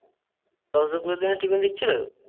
প্রতিদিনের টিফিন দিচ্ছিল।